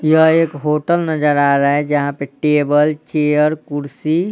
यह एक होटल नजर आ रहा है जहां पे टेबल चेयर‌ कुर्सी --